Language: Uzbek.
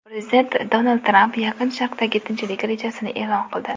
Prezident Donald Tramp Yaqin Sharqdagi tinchlik rejasini e’lon qildi.